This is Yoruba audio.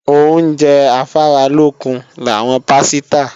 Oúnjẹ afáralókun làwọn pásítà